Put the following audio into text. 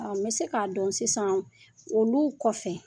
N bɛ se k'a dɔn sisan olu kɔfɛ